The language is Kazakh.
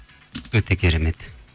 өте керемет